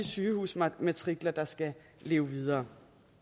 sygehusmatrikler der skal leve videre